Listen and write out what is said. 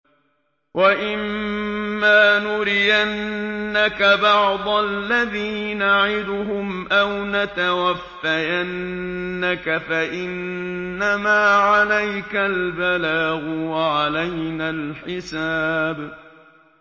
وَإِن مَّا نُرِيَنَّكَ بَعْضَ الَّذِي نَعِدُهُمْ أَوْ نَتَوَفَّيَنَّكَ فَإِنَّمَا عَلَيْكَ الْبَلَاغُ وَعَلَيْنَا الْحِسَابُ